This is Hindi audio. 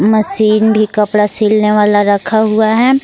मशीन भी कपड़ा सिलने वाला रखा हुआ है।